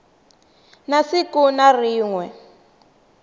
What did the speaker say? na siku na rin we